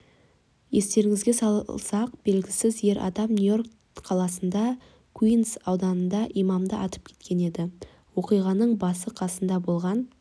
естеріңізге салайық белгісіз ер адам нью-йорк қаласының куинс ауданында имамды атып кеткен еді оқиғаның басы-қасында болған